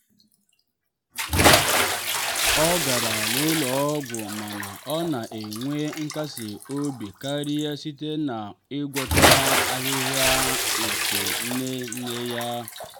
ọ gara n'ụlọ ọgwụ mana ọ na-enwe nkasi obi karịa site na ngwọta ahịhịa nke nne nne ya.